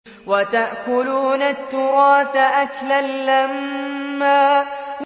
وَتَأْكُلُونَ التُّرَاثَ أَكْلًا لَّمًّا